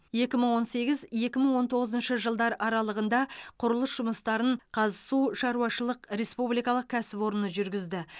екі мың он сегіз екі мың он тоғызыншы жылдар аралығында құрылыс жұмыстарын қазсу шаруашышылық республикалық кәсіпорны жүргізді